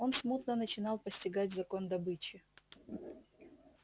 он смутно начинал постигать закон добычи